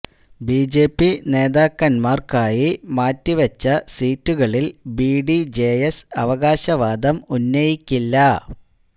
B J P നേതാക്കന്മാര്ക്കായി മാറ്റിവെച്ച സീറ്റുകളില് ബി ഡി ജെ എസ് അവകാശവാദം ഉന്നയിക്കില്ല